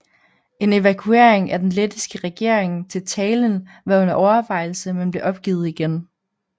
En evakuering af den lettiske regering til Tallinn var under overvejelse men blev opgivet igen